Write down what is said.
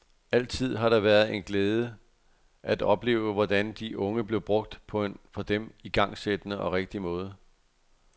Altid har det været en glæde at opleve, hvordan de unge blev brugt på en for dem igangsættende og rigtig måde.